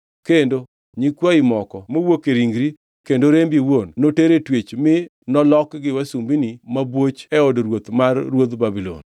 Kendo nyikwayi moko mowuok e ringri kendo rembi iwuon, noter e twech mi nolokgi wasumbini mabwoch e od ruoth mar ruodh Babulon.”